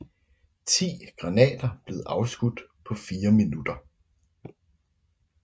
Ti granater blev afskudt på fire minutter